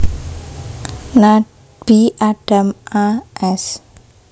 Nabi Adam a s